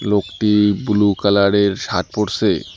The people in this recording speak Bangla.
লোকটি বুলু কালারের সাত পরসে ।